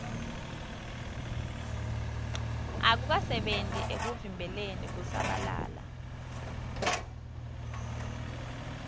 akukasebenti ekuvimbeleni kusabalala